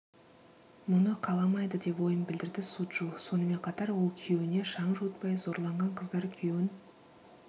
мұны қаламайды деп ойын білдірді суджу сонымен қатар ол күйеуіне шаң жуытпай зорланған қыздар күйеуін